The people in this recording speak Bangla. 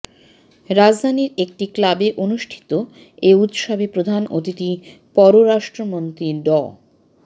রাজধানীর একটি ক্লাবে অনুষ্ঠিত এ উৎসবে প্রধান অতিথি পররাষ্ট্রমন্ত্রী ড